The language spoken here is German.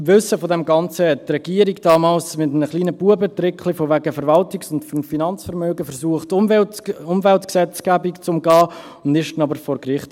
Im Wissen um all dies versuchte die Regierung damals mit einem kleinen Bubentricklein von wegen Verwaltungs- und Finanzvermögen, die Umweltgesetzgebung zu umgehen, scheiterte dann aber vor Gericht.